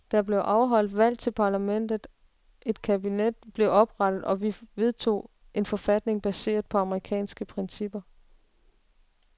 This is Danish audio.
Der blev afholdt valg til parlamentet, et kabinet blev oprettet og vi vedtog en forfatning baseret på amerikanske principper.